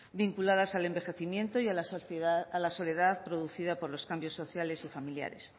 vinculadas al envejecimiento y a la soledad producida por los cambios sociales y familiares